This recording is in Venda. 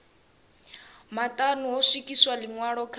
maṱanu ho swikiswa ḽiṅwalo kha